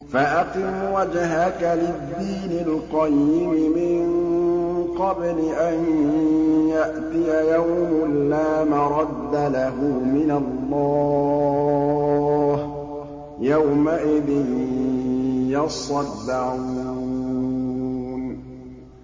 فَأَقِمْ وَجْهَكَ لِلدِّينِ الْقَيِّمِ مِن قَبْلِ أَن يَأْتِيَ يَوْمٌ لَّا مَرَدَّ لَهُ مِنَ اللَّهِ ۖ يَوْمَئِذٍ يَصَّدَّعُونَ